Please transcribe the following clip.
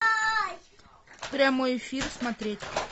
прямой эфир смотреть